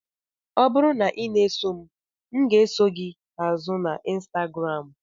Ọ bụrụ na ị na-eso m, m ga-eso gị azụ na Instagram.